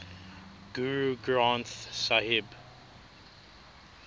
guru granth sahib